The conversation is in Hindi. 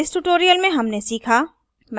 अतः इस tutorial में हमने सीखा